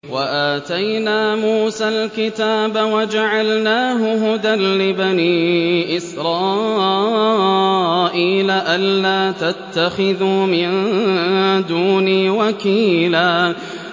وَآتَيْنَا مُوسَى الْكِتَابَ وَجَعَلْنَاهُ هُدًى لِّبَنِي إِسْرَائِيلَ أَلَّا تَتَّخِذُوا مِن دُونِي وَكِيلًا